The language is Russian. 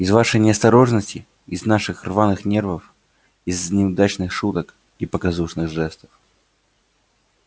из вашей неосторожности из наших рваных нервов из неудачных шуток и показушных жестов